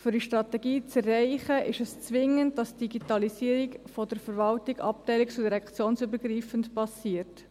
Um diese Strategie zu erreichen, ist es zwingend, dass die Digitalisierung der Verwaltung abteilungs- und direktionsübergreifend erfolgt.